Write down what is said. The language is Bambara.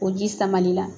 O ji samali la